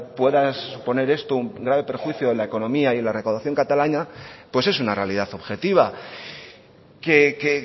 pueda suponer esto un grave perjuicio en la economía y en la recaudación catalana pues es una realidad objetiva que